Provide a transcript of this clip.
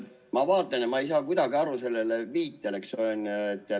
Ma vaatan ja ma ei saa kuidagi sellest viitest aru.